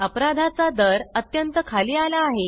अपराधाचा दर अत्यंत खाली आला आहे